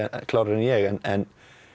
klárara en ég en